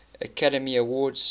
academy awards